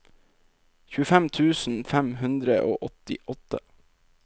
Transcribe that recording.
tjuefem tusen fem hundre og åttiåtte